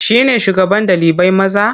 Shi ne shugaban ɗalibai maza?